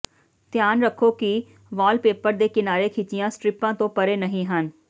ਧਿਆਨ ਰੱਖੋ ਕਿ ਵਾਲਪੇਪਰ ਦੇ ਕਿਨਾਰੇ ਖਿੱਚੀਆਂ ਸਟਰਿੱਪਾਂ ਤੋਂ ਪਰੇ ਨਹੀਂ ਹਨ